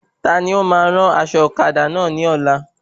Taani óma rán aṣọ ọ̀kadà náà ni ọ́la